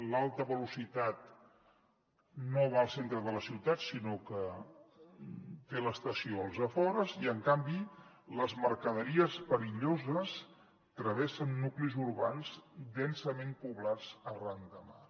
l’alta velocitat no va al centre de la ciutat sinó que té l’estació als afores i en canvi les mercaderies perilloses travessen nuclis urbans densament poblats arran de mar